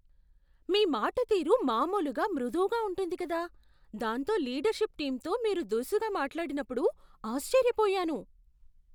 మీ మాటతీరు మామూలుగా మృదువుగా ఉంటుంది కదా, దాంతో లీడర్షిప్ టీంతో మీరు దురుసుగా మాట్లాడినప్పుడు ఆశ్చర్యపోయాను.